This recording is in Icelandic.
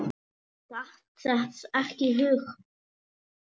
Datt það ekki í hug.